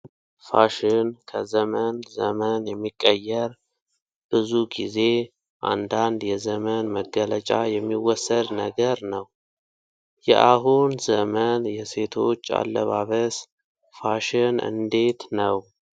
ፋሽን ከዘመን ዘመን የሚቀየር ፤ ብዙ ጊዜ እንዳንድ የዘመን መገለጫ የሚወሰድ ነገር ነው። የአሁን ዘመን የሴቶች አለባበስ ፋሽን እንዴት ነው?